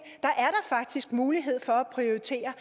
faktisk er mulighed for at prioritere